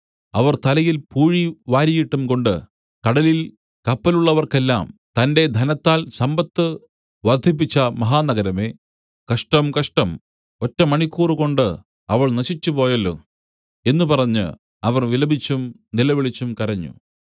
അവർ തലയിൽ പൂഴി വാരിയിട്ടുംകൊണ്ട് കടലിൽ കപ്പലുള്ളവർക്കെല്ലാം തന്റെ ധനത്താൽ സമ്പത്ത് വർദ്ധിപ്പിച്ച മഹാനഗരമേ കഷ്ടം കഷ്ടം ഒറ്റ മണിക്കൂറുകൊണ്ടു അവൾ നശിച്ചുപോയല്ലോ എന്നു പറഞ്ഞ് അവർ വിലപിച്ചും നിലവിളിച്ചും കരഞ്ഞു